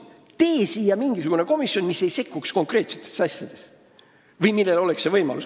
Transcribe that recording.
No tehke siia mingisugune komisjon, mis ei sekkuks konkreetsetesse asjadesse!